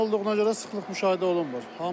Onlayn olduğuna görə sıxlıq müşahidə olunmur.